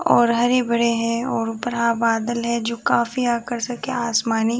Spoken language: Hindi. और हरे-भरे हैं और बड़ा बादल है जो काफी आकर्षक है आसमानी --